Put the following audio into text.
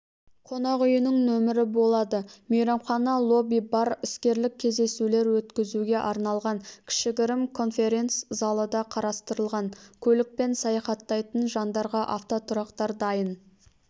қонақ үйінің нөмірі болады мейрамхана лобби-бар іскерлік кездесулер өткізуге арналған кішігірім конференц-залы да қарастырылған көлікпен саяхаттайтын жандарға автотұрақтар дайын